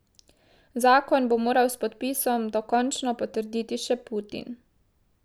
Zakon bo moral s podpisom dokončno potrditi še Putin.